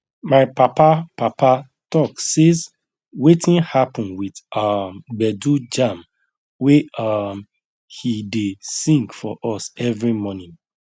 my papa papa talk says wetin happen with um gbedu jam wey um he dey sing for us every morning